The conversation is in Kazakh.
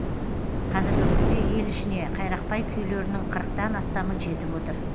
қазіргі күнде ел ішіне қайрақбай күйлерінің қырықтан астамы жетіп отыр